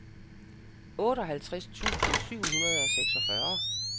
otteoghalvtreds tusind syv hundrede og seksogfyrre